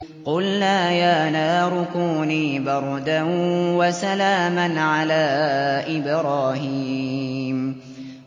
قُلْنَا يَا نَارُ كُونِي بَرْدًا وَسَلَامًا عَلَىٰ إِبْرَاهِيمَ